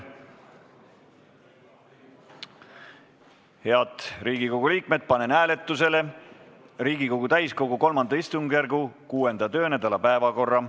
Head Riigikogu liikmed, panen hääletusele Riigikogu täiskogu III istungjärgu 6. töönädala päevakorra.